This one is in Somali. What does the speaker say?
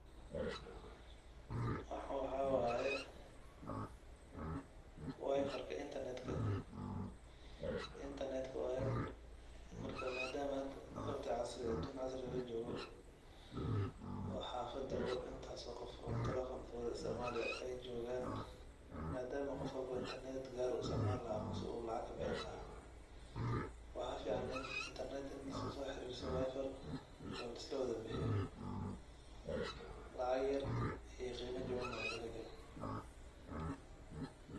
Waxan waxa waye wifarka intarnetka oo intarnetka waye marka madam auun casri ah lajogo oo xafadi intaas qof telefon isticmali eyjogaan madam qof walbo intarnet u isticmalayo mise uu lacag kabixini laha waxa fican intii laislasoxirisado wifar oo laislawada bixiyo lacag ayr iyo qimo jawan wad kuheli.